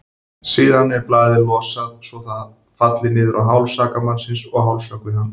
Síðan er blaðið losað svo það falli niður á háls sakamannsins og hálshöggvi hann.